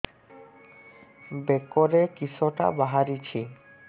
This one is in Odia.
ବେକରେ କିଶଟା ବାହାରିଛି